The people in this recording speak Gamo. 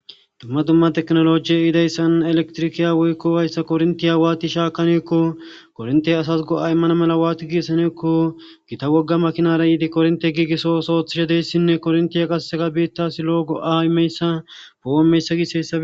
Dumma dumma teknolojiye idayssan elektrikiya woykko wayssa korintiya waati shaakaneekko kornte asas go'a immana mala waati giissaneekko gita wogga makinara yiidi kornte giigisso soothishadeyssinne korntiya qaseseka biitta silo go'ameyssa pooo meyssa giisessae.